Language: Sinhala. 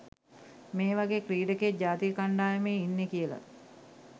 මේ වගේ ක්‍රීඩකයෙක් ජාතික කණ්ඩායමේ ඉන්නෙ කියලා